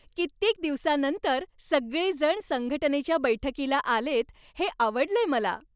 कित्येक दिवसांनंतर सगळेजण संघटनेच्या बैठकीला आलेयत हे आवडलंय मला.